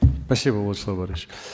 спасибо владислав борисович